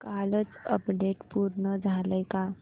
कालचं अपडेट पूर्ण झालंय का